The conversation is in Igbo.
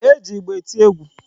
E ji ịgba eti egwu.